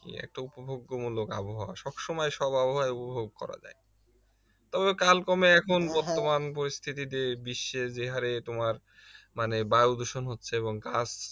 একটা উপভোগ্য মূলক আবহাওয়া সবসময় সব আবহাওয়ায় উপভোগ করা যায় তবে কালক্রমে এখন বর্তমান পরিস্থিতিতে বিশ্বে যে হারে তোমার মানে বায়ু দূষণ হচ্ছে এবং গাছ